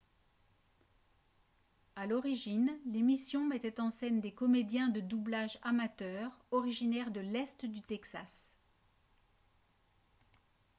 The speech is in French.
à l'origine l'émission mettait en scène des comédiens de doublage amateurs originaires de l'est du texas